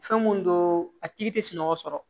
Fɛn mun don a tigi tɛ sunɔgɔ sɔrɔ